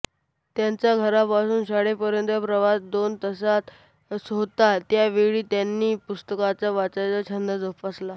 त्यांचा घरापासून शाळेपर्यंतचा प्रवास दोन तासाच होता त्या वेळात त्यांनी पुस्तके वाचायचा छंद जोपासला